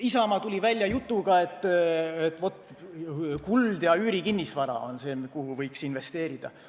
Isamaa tuli välja jutuga, et kuld ja üürikinnisvara on see, kuhu võiks investeerida.